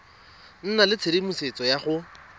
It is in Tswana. nna le tshedimosetso ya go